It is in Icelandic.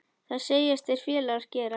Það segjast þeir félagar gera.